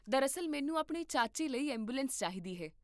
ਦਰਅਸਲ, ਮੈਨੂੰ ਆਪਣੇ ਚਾਚੇ ਲਈ ਐਂਬੂਲੈਂਸ ਚਾਹੀਦੀ ਹੈ